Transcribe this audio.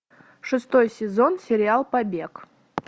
шестой сезон сериал побег